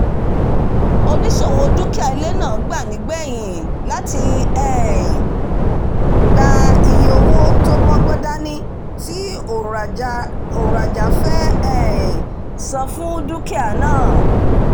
oníṣòwò dúkìá ilé náà gbà nígbẹ̀yìn láti um gba iye owó tó mọ́gbọ̀n dání tí òǹrajà fẹ́ um san fún dúkìá náà